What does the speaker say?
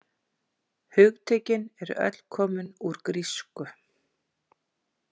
Hugtökin eru öll komin úr grísku.